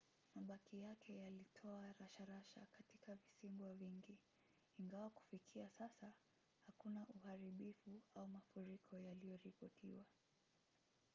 mabaki yake yalitoa rasharasha katika visiwa vingi ingawa kufikia sasa hakuna uharibifu au mafuriko yaliyoripotiwa